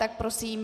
Ano, prosím.